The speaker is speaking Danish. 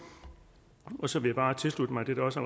så vil jeg bare tilslutte mig det der også